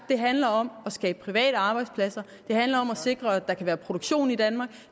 det handler om at skabe private arbejdspladser det handler om at sikre at der kan være produktion i danmark